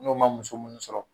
N'o ma muso minnu sɔrɔ